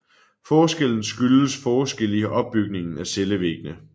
Forskellen skyldes forskelle i opbygningen af cellevæggene